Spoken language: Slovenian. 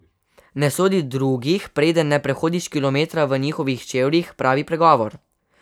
Ne sodi drugih, preden ne prehodiš kilometra v njihovih čevljih, pravi pregovor.